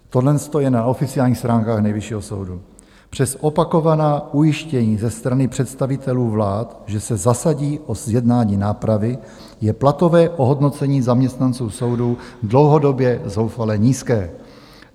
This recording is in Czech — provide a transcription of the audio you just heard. Tohle je na oficiálních stránkách Nejvyššího soudu: Přes opakovaná ujištění ze strany představitelů vlád, že se zasadí o zjednání nápravy, je platové ohodnocení zaměstnanců soudů dlouhodobě zoufale nízké.